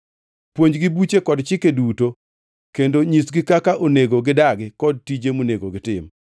Puonjgi buche kod chike duto kendo nyisgi kaka onego gidagi kod tije monego gitim.